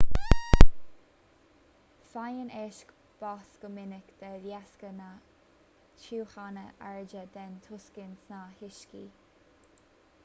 faigheann éisc bás go minic de dheasca na tiúchana airde den tocsain sna huiscí